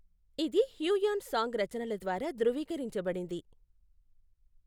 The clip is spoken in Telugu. ఇది హ్యూయాన్ సాంగ్ రచనల ద్వారా ధృవీకరించబడింది.